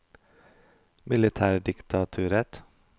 militærdiktaturet